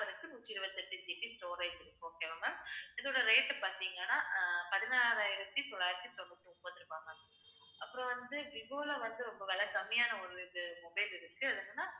நூற்றி இருபத்தி எட்டு GB storage இருக்கு. okay வா ma'am இதோட rate பார்த்தீங்கன்னா ஆஹ் பதினாறாயிரத்தி தொள்ளாயிரத்தி தொண்ணூத்தி ஒன்பது ரூபாய் ma'am அப்புறம் வந்து, விவோல வந்து, ரொம்ப விலை கம்மியான ஒரு இது mobile இருக்கு. அது என்னன்னா